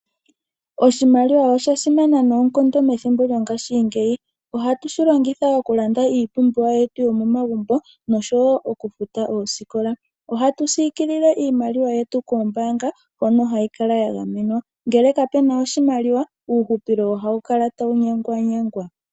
Oshimaliwa osha simana noonkondo methimbo lyo ngaashingeyi, ohatu shilongitha okulanda iipumbiwa yetu yo momagumbo noshowo okufuta oosikola. Ohatu siikilile iimaliwa yetu koombaanga hono hayi kala ya gamenwa. Ngele kapuna oshimaliwa, uuhupilo ohawu kala tawu nyangwanyangwa.